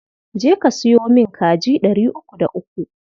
Je ka sayo min kaji ɗari uku da uku.